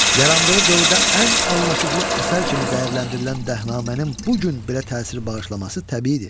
Yarandığı dövrdə ən anlaşıqlı əsər kimi dəyərləndirilən Dəhnamənin bu gün belə təsir bağışlaması təbiidir.